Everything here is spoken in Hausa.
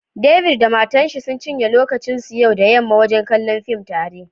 David da matarshi sun cinye lokacin su yau da yamma wajen kallon fim tare